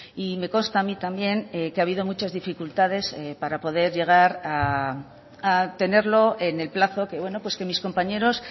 y me consta a mí también que ha habido muchas dificultades para poder llegar a tenerlo en el plazo que bueno pues que mis compañeros